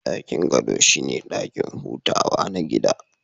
Dakin gado shine dakin hutawa na gidan